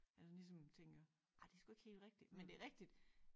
At han ligesom tænker ah det sgu ikke helt rigtigt men det rigtigt